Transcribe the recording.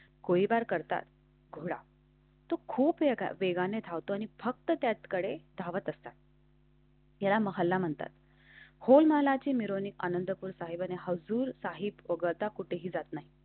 कोई बार करतात घोडा. खूप वेगाने धावतो आणि फक्त त्यातकडे धावत असतात. मला महाला म्हणतात हो मला जेमिनी आनंदपुर साहिब हजूर साहिब वगळता कुठेही जात नाही.